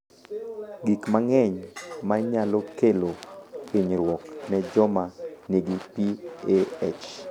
Gik mang’eny ma nyalo kelo hinyruok ne joma nigi PAH.